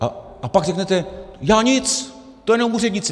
A pak řeknete: Já nic, to jenom úředníci.